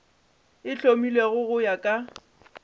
e hlomilwego go ya ka